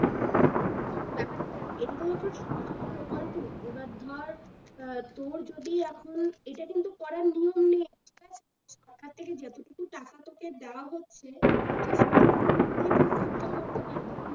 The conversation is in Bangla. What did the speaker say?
ব্যাপারটা কি দেখ এদিকেও সরকারের প্রকল্প এবার ধর আহ তোর যদি এখন এটা কিন্তু পরে ধরে নে সরকার থেকে যতটুকু টাকা তোকে দেওয়া হচ্ছে তুই সেটুকুর মধ্যে কিন্তু বাড়িটা করতে পারবি